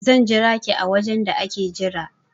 I will wait for you in the waiting area